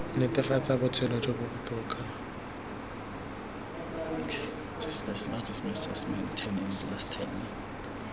netefatsa botshelo jo bo botoka